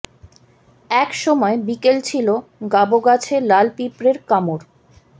এক সময় বিকেল ছিল গাব গাছে লাল পিঁপড়ের কামড়